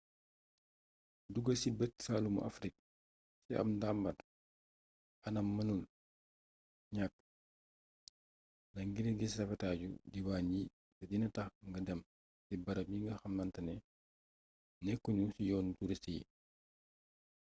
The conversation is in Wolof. dugg ci bëj-saalumu afrik ci ab ndambaar anam mënul ñakk la ngir gis rafetaayu diiwaan yi te dina tax nga dem ci barab yi nga xamantane nekku ñu ci yoonu turist yi